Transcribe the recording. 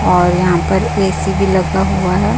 और यहां पर ए_सी भी लगा हुआ है।